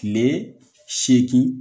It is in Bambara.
Kile segin